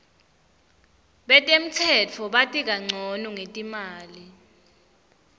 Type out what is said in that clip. betemnotfo bati kancono ngetimali